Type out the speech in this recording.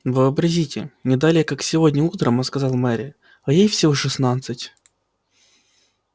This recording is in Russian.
вообразите не далее как сегодня утром он сказал мэри а ей всего шестнадцать